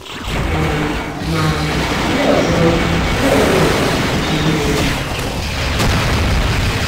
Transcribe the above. um Ma, ndị ọzọ, ndị ọzọ nwekwara ike inyere ha aka.